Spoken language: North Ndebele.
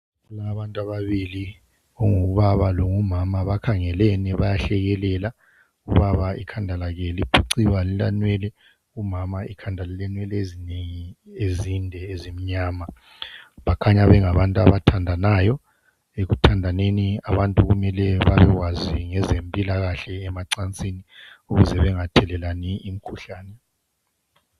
Bona abantu ababili ongubaba longumama bakhangelene bayahlekela ubaba ikhanda lakhe liphuciwe alilanwele umama ikhanda lilenwele ezinengi ezinde ezimnyama bakhanya bengabantu abathandanayo ekuthandaneni abantu kumele babekwazi ngezempilakahle emacansini ukuze bengathelelani imikhuhlani